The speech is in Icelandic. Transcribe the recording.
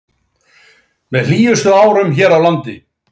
Með hlýjustu árum hér á landi